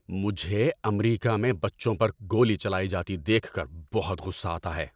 مجھے امریکہ میں بچوں پر گولی چلائی جاتی دیکھ کر بہت غصہ آتا ہے۔